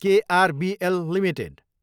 KRBL Ltd